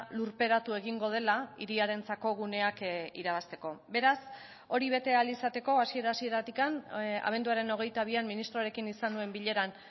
lurperatu egingo dela hiriarentzako guneak irabazteko beraz hori bete ahal izateko hasiera hasieratik abenduaren hogeita bian ministroarekin izan nuen bileran